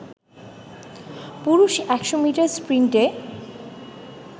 পুরুষ ১০০ মিটার স্প্রিন্টে